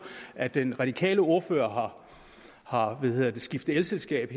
at den radikale ordfører har skiftet elselskab